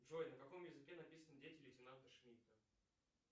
джой на каком языке написаны дети лейтенанта шмидта